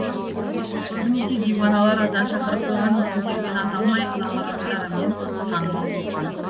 көбінесе диуаналар азан шақырып қойған есімдерімен аталмай лақап аттарымен танымал болған